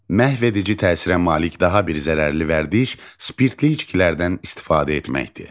Məhvedici təsirə malik daha bir zərərli vərdiş spirtli içkilərdən istifadə etməkdir.